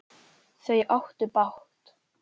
Þau áttu bágt!